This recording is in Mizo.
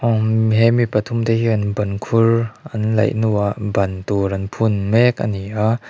he mi pathum te hian in ban khur an laih hnuah ban tur an phun mek a ni a.